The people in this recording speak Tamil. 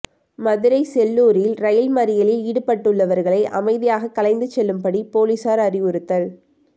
மதுரை செல்லூரில் ரயில் மறியலில் ஈடுபட்டுள்ளவர்களை அமைதியாக கலைந்து செல்லும்படி பொலிசார் அறிவுறுத்தல்